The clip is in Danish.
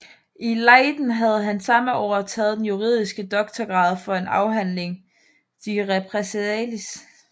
I Leiden havde han samme år taget den juridiske doktorgrad for en afhandling de repressaliis